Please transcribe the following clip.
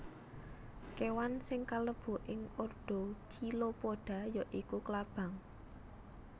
Kéwan sing kalebu ing ordo Chilopoda ya iku klabang